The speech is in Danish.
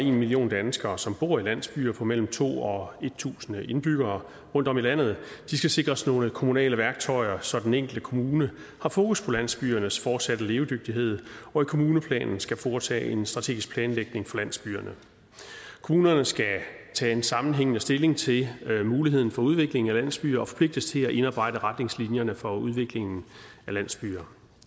en million danskere som bor i landsbyerne på mellem to og tusind indbyggere rundtom i landet skal sikres nogle kommunale værktøjer så den enkelte kommune har fokus på landsbyernes fortsatte levedygtighed og i kommuneplanen skal foretage en strategisk planlægning for landsbyerne kommunerne skal tage en sammenhængende stilling til muligheden for udvikling af landsbyer og forpligtes til at indarbejde retningslinjerne for udviklingen af landsbyer